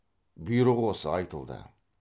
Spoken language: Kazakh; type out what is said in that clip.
бұйрық осы айтылды